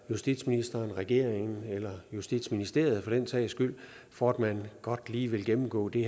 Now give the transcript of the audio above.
justitsministeren regeringen eller justitsministeriet for den sags skyld for at man godt lige vil gennemgå de